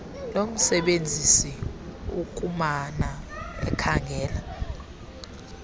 lomsebenzisi ukumana ekhangela